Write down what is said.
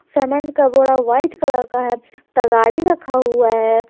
सामान का बोरा व्हाइट कलर का है तगाड़ी रखा हुआ है।